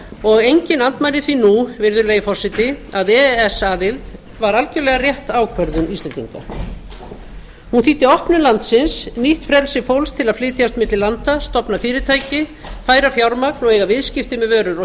og enginn andmælir því nú virðulegi forseti að e e s aðild var algerlega rétt ákvörðun íslendinga hún þýddi opnun landsins nýtt frelsi fólks til að flytjast milli landa stofna fyrirtæki færa fjármagn og eiga viðskipti með vörur og